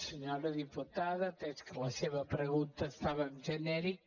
senyora diputada atès que la seva pregunta estava en genèric